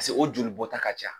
Pasike o joli bɔta ka ca.